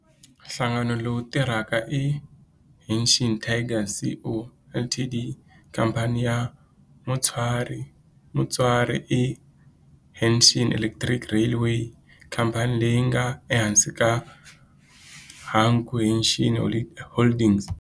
Nhlangano lowu tirhaka i Hanshin Tigers Co., Ltd. Khamphani ya mutswari i Hanshin Electric Railway, khamphani leyi nga ehansi ka Hankyu Hanshin Holdings.